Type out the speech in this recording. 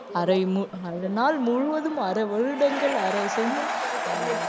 அரை மு~ அரை நாள் முழுவதும் அரை வருடங்கள் அரை செ~